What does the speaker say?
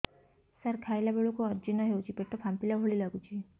ସାର ଖାଇଲା ବେଳକୁ ଅଜିର୍ଣ ହେଉଛି ପେଟ ଫାମ୍ପିଲା ଭଳି ଲଗୁଛି